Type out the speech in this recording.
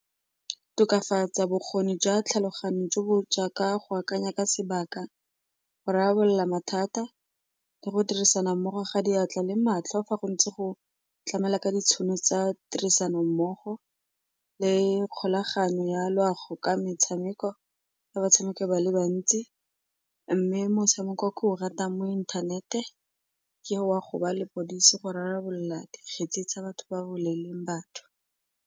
Tokafatsa bokgoni jwa tlhaloganyo jo bo jaaka go akanya ka sebaka, go rarabolola mathata, le go dirisana mmogo ga diatla le matlho fa go ntse go tlamelwa ka ditshono tsa tirisanommogo le kgolagano ya loago ka metshameko ya batshameki ba le bantsi. Mme motshameko o ke o ratang mo inthanete ke wa go ba lepodisi go rarabolla dikgetsi tsa batho ba ba bolaileng batho.